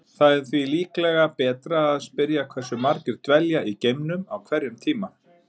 Það er því líklega betra að spyrja hversu margir dvelja í geimnum á hverjum tíma.